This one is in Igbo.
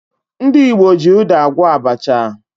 Ndị Igbo ji ụda agwọ abacha